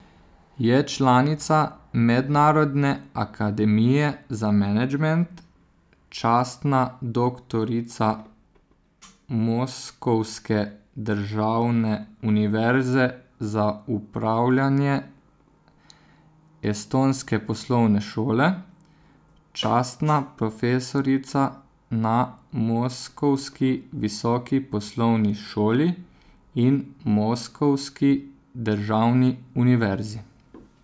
Je članica Mednarodne akademije za menedžment, častna doktorica Moskovske državne univerze za upravljanje, Estonske poslovne šole, častna profesorica na Moskovski visoki poslovni šoli in Moskovski državni univerzi.